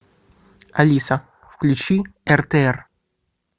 алиса включи ртр